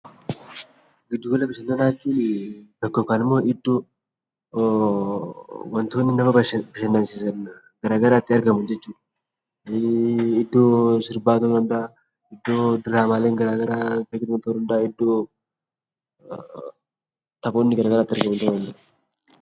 Giddu gala bashannanaa iddoo waantonni nama bashannansiisan iddoo garaagaraatti argamu jechuudh. Iddoo diraamaan garaagaraa itti gaggeeffamu, iddoo taphoonni garaagaraa itti adeemsifamudha.